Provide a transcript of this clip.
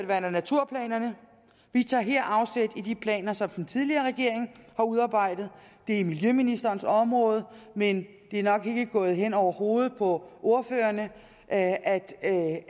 vand og naturplanerne vi tager her afsæt i de planer som den tidligere regering har udarbejdet det er miljøministerens område men det er nok ikke gået hen over hovedet på ordførerne at at